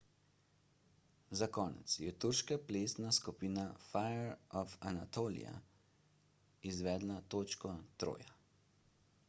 za konec je turška plesna skupina fire of anatolia izvedla točko troja